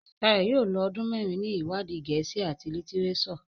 Shayo yóò ló ọdún mérin ní iwadi Gèésì at litireso.